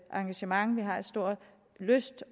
engagement vi har stor lyst